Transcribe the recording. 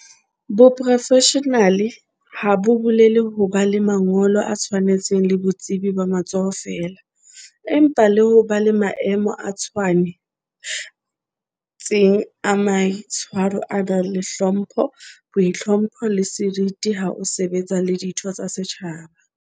Boprofeshenale ha bo bolele ho ba le mangolo a tshwanetseng le botsebi ba matsoho feela, empa le ho ba le maemo a tshwane tseng a maitshwaro a nang le hlompho, boitlhompho, le seriti ha o sebetsa le ditho tsa setjhaba.